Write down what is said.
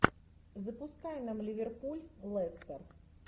запускай нам ливерпуль лестер